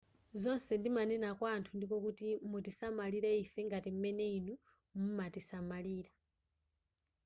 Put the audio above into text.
zonse ndimanena kwa anthu ndiko kuti mutisamalire ife ngati m'mene inu mumatisamalira